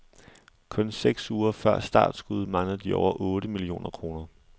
Kun seks uger før startskuddet mangler de over otte millioner kroner.